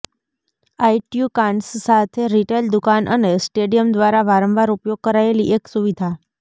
આઇટ્યુકાન્સ સાથે રિટેલ દુકાન અને સ્ટેડિયમ દ્વારા વારંવાર ઉપયોગ કરાયેલી એક સુવિધા